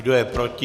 Kdo je proti?